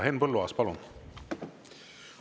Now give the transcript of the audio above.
Henn Põlluaas, palun!